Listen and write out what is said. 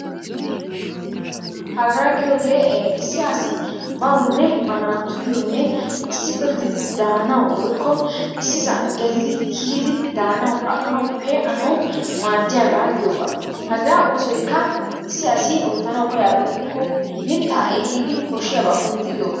Hagaa giyoogee issi asi bawunne ba naatuyyoonne issippe gididi daanawubwoykko issisan geelidi kiyidi daanawu aqanawu pee'anawu maaddiyabaa giyooga. Hagaa oosoykka issi asi oottanawu koyyiyaba gidikko mittaa ehiidi koshshiyabaa kunttidi oottes.